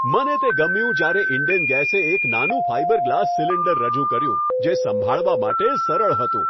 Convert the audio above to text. મને તે ગમ્યું જ્યારે ઈન્ડેન ગેસે એક નાનું ફાઈબર ગ્લાસ સિલિન્ડર રજૂ કર્યું જે સંભાળવા માટે સરળ હતું.